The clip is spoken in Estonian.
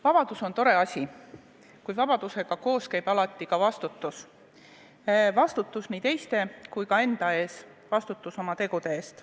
Vabadus on tore asi, kuid vabadusega koos käib alati ka vastutus – vastutus nii teiste kui ka enda eest, vastutus oma tegude eest.